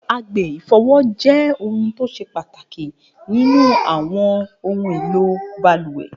A ifọwọ jẹ ẹya awọn ibaraẹnisọrọ ara ti awọn baluwe